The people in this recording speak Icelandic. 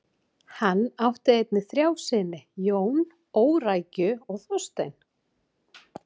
Hann átt einnig þrjá syni: Jón, Órækju og Þorstein.